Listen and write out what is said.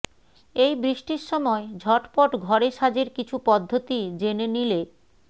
এই বৃষ্টির সময় ঝটপট ঘরে সাজের কিছু পদ্ধতি জেনে নিলে